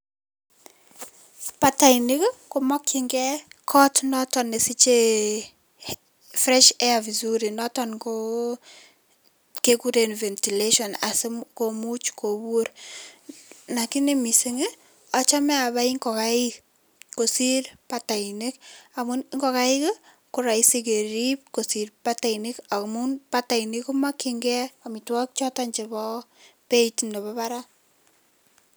Batainik komakchinkei kot noto nesichei fresh air vizuri noton ko kekuren ventilation asikomuch kopuur lakini mising achamei arip ngokaik kosiir batainik amun ngokaik ko raisi kerip kosiir batainik amun batainik komakchinkei amitwokik choto chebo beiit nemi barak.